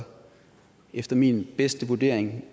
efter min bedste vurdering